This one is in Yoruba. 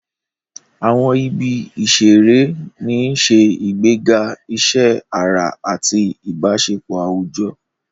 Àwọn ibi ìṣeré ń ṣe ìgbéga iṣẹ́ ara àti ìbáṣepọ̀ àwùjọ.